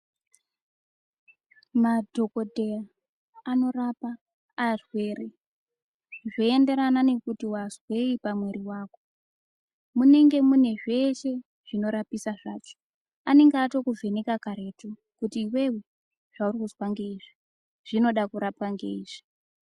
Madhokodheya anorapa arwere. Zveyenderana nekuti wandzveyi pamuwiri wako . Munenge munezvese zvinorapisa zvacho. Anenge atokuvheneka kare kuti iwewe zvaunondzva ngeyi izvi zvinoda kurapwa ngeyi.